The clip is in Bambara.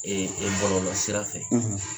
bɔlɔlɔ sira fɛ.